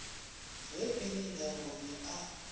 ge e le labone a